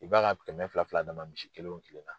I b'a ka kɛmɛ fila fila d'a ma misi kelen o kelen na.